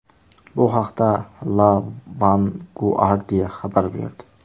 Bu haqda La Vanguardia xabar berdi .